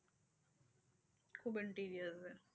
খুব interior এ।